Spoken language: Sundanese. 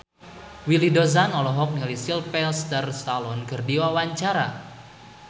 Willy Dozan olohok ningali Sylvester Stallone keur diwawancara